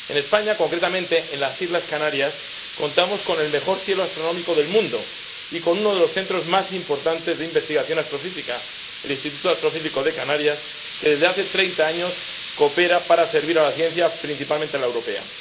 En España, concretamente en las Islas Canarias, contamos con el mejor cielo astronómico del mundo y con uno de los centros más importantes de investigación astrofísica el Instituto de Astrofísica de Canarias, que desde hace treinta años coopera para servir a la ciencia, principalmente a la europea.